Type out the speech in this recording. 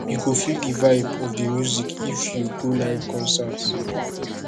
you go feel di vibe of di music if you go live concert